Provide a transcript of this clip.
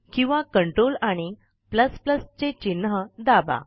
किंवा Ctrl आणि चे चिन्ह दाबा